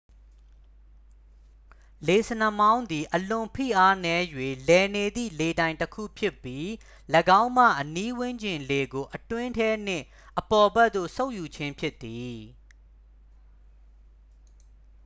"""လေဆင်နှာမောင်းသည် အလွန်ဖိအားနည်း၍ လည်နေသည့် လေတိုင်တစ်ခု ဖြစ်ပြီး ၎င်းမှ အနီးဝန်းကျင် လေကို အတွင်းထဲနှင့် အပေါ်ဘက်သို့ စုပ်ယူခြင်းဖြစ်သည်။""